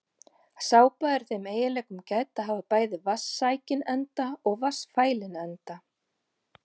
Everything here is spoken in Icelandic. Sápa er þeim eiginleikum gædd að hafa bæði vatnssækinn enda og vatnsfælinn enda.